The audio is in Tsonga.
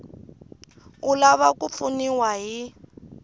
u lava ku pfuniwa hi